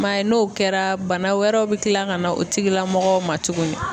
I m'a ye n'o kɛra bana wɛrɛw bi kila ka na o tigilamɔgɔw ma tuguni.